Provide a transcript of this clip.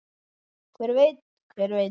Hver veit, hver veit.